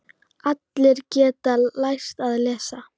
Allir geta lært að lesa.